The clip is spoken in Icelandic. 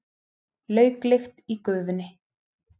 Lauklykt í gufunni.